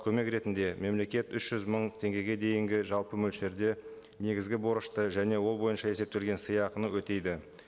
көмек ретінде мемлекет үш жүз мың теңгеге дейінге жалпы мөлшерде негізгі борышты және ол бойынша есептелген сыйақыны өтейді